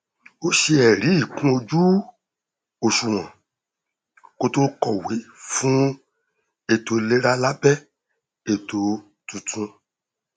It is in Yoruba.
ó ṣe ẹrí ikún ojú òṣuwọn kó tó kọwé fún ètò ìlera lábẹ ètò tuntun